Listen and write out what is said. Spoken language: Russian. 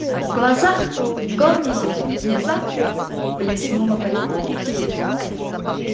в глазах горма внезапно блеснуло понимание